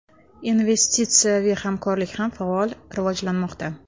Investitsiyaviy hamkorlik ham faol rivojlanmoqda.